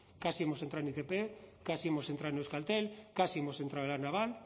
casi hemos entrado en itp casi hemos entrar en euskaltel casi hemos entrado en la naval